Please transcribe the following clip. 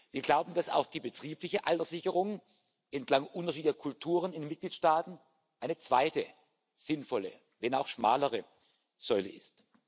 Wir glauben, dass auch die betriebliche Alterssicherung entlang unterschiedlicher Kulturen in den Mitgliedstaaten eine zweite sinnvolle, wenn auch schmalere Säule ist.